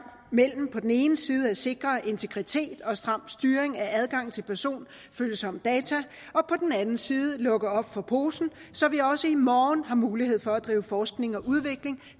mellem på den ene side at sikre integritet og stram styring af adgang til personfølsomme data og på den anden side at lukke op for posen så vi også i morgen har mulighed for at drive forskning og udvikling